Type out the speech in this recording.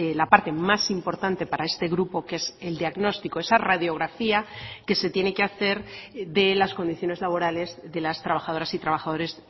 la parte más importante para este grupo que es el diagnóstico esa radiografía que se tiene que hacer de las condiciones laborales de las trabajadoras y trabajadores